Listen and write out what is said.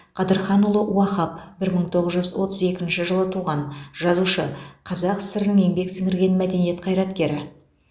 қыдырханұлы уахап бір мың тоғыз жүз отыз екінші жылы туған жазушы қазақ сср інің еңбек сіңірген мәдениет қызметкері